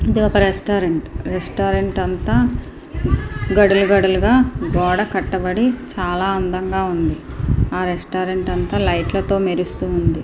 ఇది ఒక restaurant. Restaurant అంతా గడులు గడులుగా గోడ కట్టబడి చాలా అందంగా ఉంది. ఆ రెస్టారెంట్ అంతా లైట్ లతో మెరుస్తుంది.